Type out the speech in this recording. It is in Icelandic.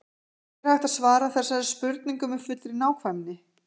ekki er hægt að svara þessari spurningu með fullri nákvæmni